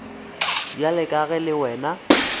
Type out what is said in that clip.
bjalo ka ge le wena